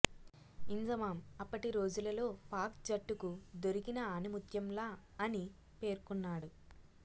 ఇంజమామ్ అప్పటి రోజులలో పాక్ జట్టుకు దొరికిన ఆణిముత్యంల అని పేర్కోన్నాడు